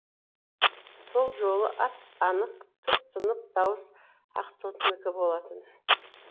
сол жолы ап анық тұп тұнық дауыс ақтоқтынікі болатын